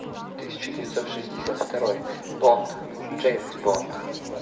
тысяча девятьсот шестьдесят второй бонд джеймс бонд